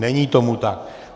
Není tomu tak.